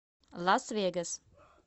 лас вегас